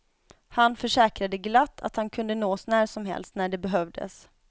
Han försäkrade glatt att han kunde nås när som helst, när det behövdes.